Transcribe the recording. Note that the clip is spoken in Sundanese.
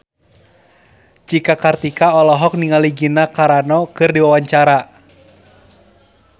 Cika Kartika olohok ningali Gina Carano keur diwawancara